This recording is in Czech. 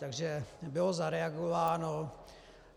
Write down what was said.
Takže bylo zareagováno.